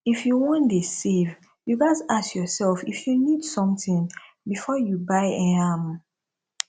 if you wan dey save you ghas ask yourself if you need something before you buy um am